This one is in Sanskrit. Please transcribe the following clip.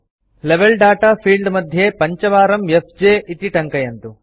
लेवेल दाता फील्ड मध्ये पञ्चवारं एफजे इति टङ्कयन्तु